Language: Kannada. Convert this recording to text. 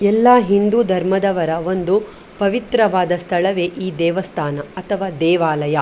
ಎಲ್ಲ ಹಿಂದೂ ಧರ್ಮದವರ ಒಂದು ಪವಿತ್ರವಾದ ಸ್ಥಳವೇ ಈ ದೇವಸ್ಥಾನ ಅಥವಾ ದೇವಾಲಯ .